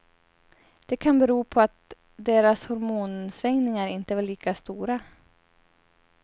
Det kan bero på att deras hormonsvängningar inte var lika stora.